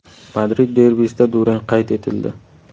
Madrid derbisida durang qayd etildi.